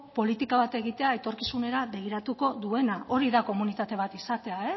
politika bat egitea etorkizunera begiratuko duena hori da komunitate bat izatea